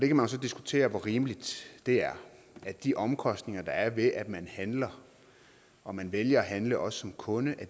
kan jo så diskutere hvor rimeligt det er at de omkostninger der er ved at man handler og man vælger at handle også som kunde